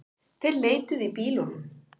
Þeir leituðu í bílunum